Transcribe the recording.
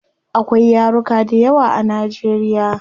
Akwai yaruka dayawa a nigeria